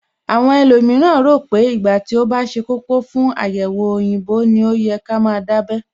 Àwọn ẹlòmíràn rò pé ìgbà tí ó bá ṣe kókó fún àyẹ̀wò òyìnbó ní ó yẹ ká máa dábẹ́